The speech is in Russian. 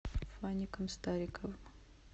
фаником стариковым